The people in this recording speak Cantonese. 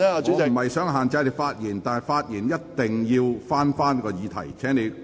我並非想限制你的發言，但發言一定要針對議題。